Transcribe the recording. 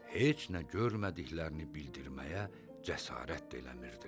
Heç nə görmədiklərini bildirməyə cəsarət də eləmirdilər.